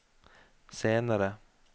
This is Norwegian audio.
senere